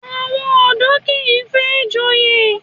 Àwọn ọ̀dọ́ kìí fẹ́ joyè